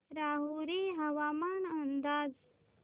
राहुरी हवामान अंदाज